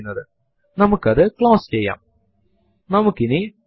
LS നെ പല options ന്റെയും കൂടെ ഉപയോഗിക്കാനും പറ്റും അതു നമുക്ക് പിന്നീട് കാണാം